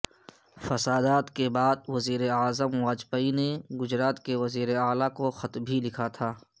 فسادات کے بعد وزیراعظم واجپئی نے گجرات کے وزیر اعلی کو خط بھی لکھا تھا